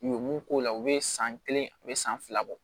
U ye mun k'o la u bɛ san kelen a bɛ san fila bɔ